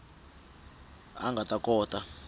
a a nga ta kota